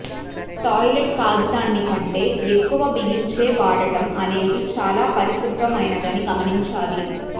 toilet కాగితాన్ని కంటే ఎక్కువ బిగించే వాడటం అనేది చాలా పరిశుభ్రమైనదని గమనించాలి